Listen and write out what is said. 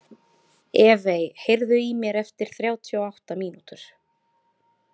Evey, heyrðu í mér eftir þrjátíu og átta mínútur.